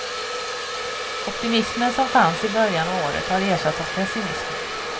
Optimismen som fanns i början av året har ersatts av pessimism.